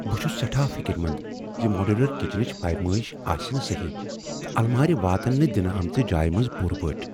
بہٕ چھس سٮ۪ٹھا فکر مند ز ماڈیولر کچنٕچ پیمٲیش آسہِ نہٕ سہی، تہٕ المارِ واتن نہٕ دنہٕ آمٕژِ جایہ منٛز پوٗرٕ پٲٹھہِ ۔